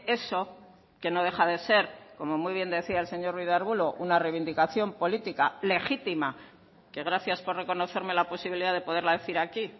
eso que no deja de ser como muy bien decía el señor ruiz de arbulo una reivindicación política legítima que gracias por reconocerme la posibilidad de poderla decir aquí